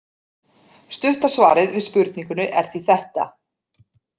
Stutta svarið við spurningunni er því þetta.